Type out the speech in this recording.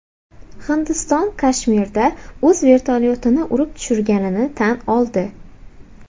Hindiston Kashmirda o‘z vertolyotini urib tushirganini tan oldi.